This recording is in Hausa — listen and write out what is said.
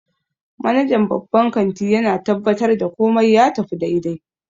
Manajan babban kanti yana tabbatar da komai ya tafi daidai